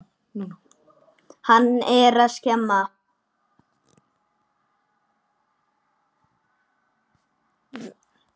Hann er að skemma.